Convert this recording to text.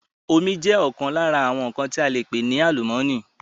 Omi jẹ ọkan lára àwọn tí ale pè ní àlùmọ́nì